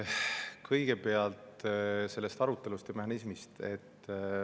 Kõigepealt selle arutelu mehhanismist.